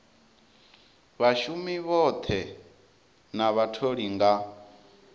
vhashumi vhoṱhe na vhatholi nga